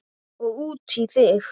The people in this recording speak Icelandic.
Og út í þig.